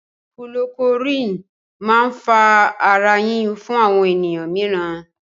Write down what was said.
kulorokúwínì máa ń fa ara yíyún fún àwọn ènìyàn míìràn.